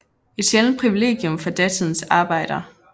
Et sjældent privilegium for datidens arbejder